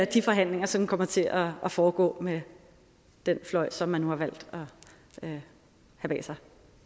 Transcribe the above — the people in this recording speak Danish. de forhandlinger som kommer til at foregå med den fløj som man nu har valgt at have bag sig